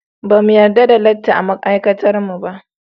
Ba mu yarda da latti a ma'aikatarmu ba.